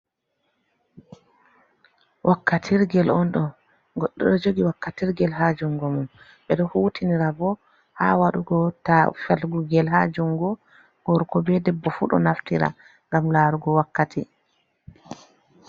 Wakkatirgel on ɗo, goɗɗo ɗo jogi wakkatirgel ha jungo mum, ɓeɗo hutinira bo ha waɗugo ta falugo ngel ha jungu, gorko be debbo fu ɗo naftira ngam larugo wakkati.